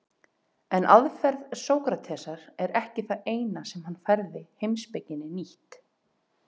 En aðferð Sókratesar er ekki það eina sem hann færði heimspekinni nýtt.